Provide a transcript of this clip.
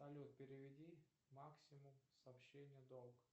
салют переведи максимум сообщение долг